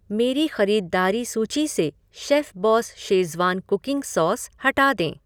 मेरी ख़रीदारी सूची से शेफ़बॉस शेज़वान कुकिंग सॉस हटा दें।